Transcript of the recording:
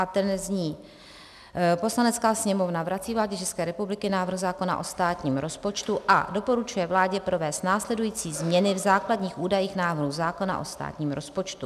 A ten zní: "Poslanecká sněmovna vrací vládě České republiky návrh zákona o státním rozpočtu a doporučuje vládě provést následující změny v základních údajů návrhu zákona o státním rozpočtu.